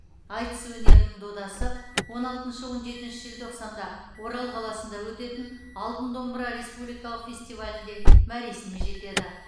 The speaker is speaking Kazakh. айтыс өнерінің додасы он алтыншы он жетінші желтоқсанда орал қаласында өтетін алтын домбыра республикалық фестивалінде мәресіне жетеді